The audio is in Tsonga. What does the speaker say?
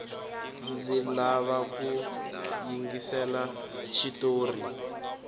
ndzi lava ku yingisela xitori